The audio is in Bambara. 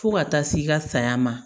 Fo ka taa s'i ka saya ma